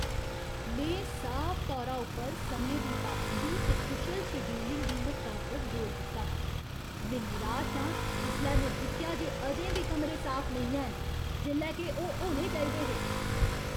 में साफ तौरा उप्पर समें दी पाबंदी ते कुशल शेड्यूलिंग दी म्हत्ता उप्पर जोर दित्ता हा, में निराश आं जिसलै में दिक्खेआ जे अजें बी कमरें साफ नेईं हैन, जेल्लै के ओह् होने चाहिदे हे!